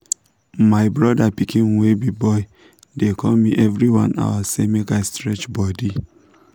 my brother pikin wey be boy dey call me every one hour say make i stretch body